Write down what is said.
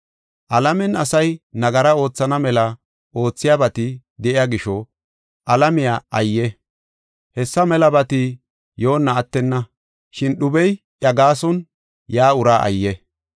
Alamen asay nagara oothana mela oothiyabati de7iya gisho alamiya ayye! Hessa melabati yoonna attenna, shin dhubey iya gaason yaa uraa ayye!